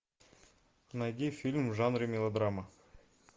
найди фильм в жанре мелодрама